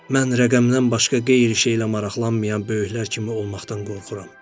Mən rəqəmdən başqa qeyri şeylə maraqlanmayan böyüklər kimi olmaqdan qorxuram.